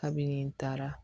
Kabini taara